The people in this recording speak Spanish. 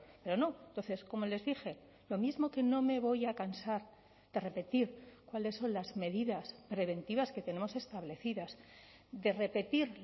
pero no entonces como les dije lo mismo que no me voy a cansar de repetir cuáles son las medidas preventivas que tenemos establecidas de repetir